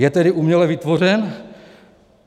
Je tedy uměle vytvořen?